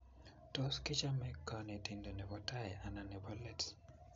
Tos kichame konetindet nebo tai anan nebo leet